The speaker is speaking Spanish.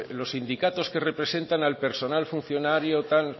los sindicatos que representan al personal funcionario tal